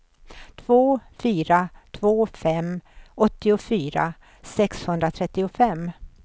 två fyra två fem åttiofyra sexhundratrettiofem